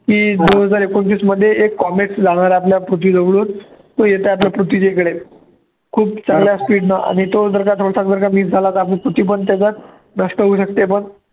की दोन हजार एकोणतीसमध्ये एक comex जाणार आहे आपल्या पृथ्वीजवळून तो येतो आता पृथ्वीच्याइकडे खूप चांगल्या speed नं आहे तो जर का आपली पृथ्वी पण त्याच्यात नष्ट होऊ शकते, पण